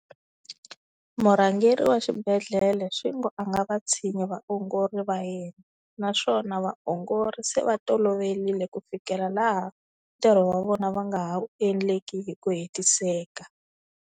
Murhangeri wa xibedhlele swi ngo a nga vatshinyi vaongori va yena, naswona vaongori se va toloverile ku fikela laha ntirho wa vona va nga ha wu endleki hi ku hetiseka.